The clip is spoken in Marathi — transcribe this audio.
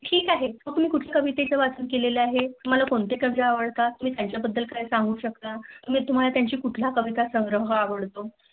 ठीक आहे कुठली कुटजली कावेरीची वाचन केले आहे तुम्हला कोणते गाद्य आवडता तुम्ही त्याच्या बद्दल काय सांगू शकता? मग तुम्हला त्याचे कोणते कविता संग्रह आवडतो.